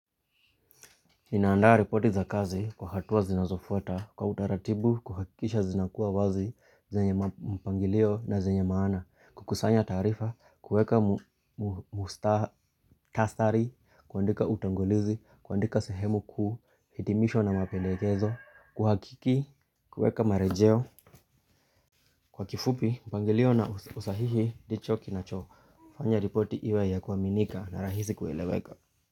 Ninaandaa ripoti za kazi kwa hatuwa zinazofuta, kwa utaratibu, kuhakisha zinakuwa wazi, zenye mpangilio na zenye maana, kukusanya tarifa, kueka mustahari, kuandika utangulizi, kuandika sehemu kuu hitimisho na mapendekezo, kuhakiki, kueka marejeo, kwa kifupi, mpangilio na usahihi, ndicho kinacho, ufanya ripoti iwe ya kuaminika na rahisi kueleweka.